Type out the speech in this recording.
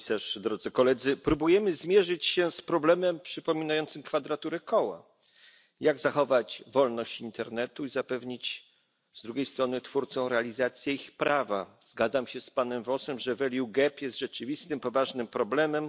Pani Komisarz! Próbujemy zmierzyć się z problemem przypominającym kwadraturę koła. Jak zachować wolność internetu i zapewnić z drugiej strony twórcom realizację ich prawa? Zgadzam się z panem Vossem, że jest rzeczywistym, poważnym problemem.